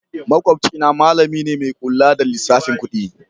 Makwabcina malami ne mai kula da lissafin kudi